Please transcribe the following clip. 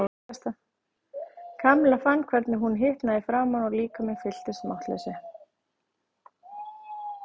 Kamilla fann hvernig hún hitnaði í framan og líkaminn fylltist máttleysi.